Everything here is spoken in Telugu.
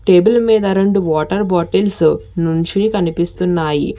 టేబుల్ మీద రెండు వాటర్ బాటిల్స్ నుంచి కనిపిస్తున్నాయి.